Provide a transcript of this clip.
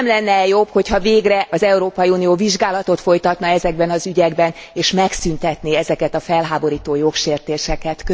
Nem lenne e jobb, hogy ha végre az Európai Unió vizsgálatot folytatna ezekben az ügyekben, s megszüntetné ezeket a felháborító jogsértéseket?